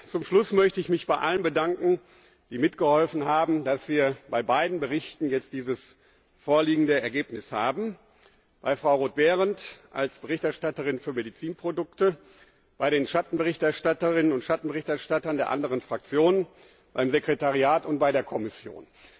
Zum Schluss möchte ich mich bei allen bedanken, die mitgeholfen haben, dass wir bei beiden Berichten jetzt dieses vorliegende Ergebnis haben bei Frau Roth Behrendt als Berichterstatterin für Medizinprodukte, bei den Schattenberichterstatterinnen und Schattenberichterstattern der andern Fraktionen, beim Sekretariat und bei der Kommission.